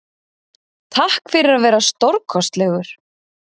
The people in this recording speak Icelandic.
Takk fyrir að vera stórkostlegur.